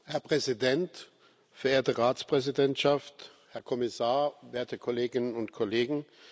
Herr Präsident, verehrte Ratspräsidentschaft, Herr Kommissar, werte Kolleginnen und Kollegen!